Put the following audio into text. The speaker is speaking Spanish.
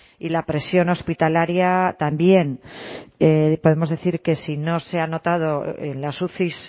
y la presión hospitalaria también podemos decir que si no se ha notado en las uci